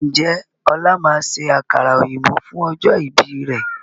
Ǹjẹ́ ọ̀la máa ṣe àkàrà òyìnbó fún ọjọ́ ìbí rẹ̀?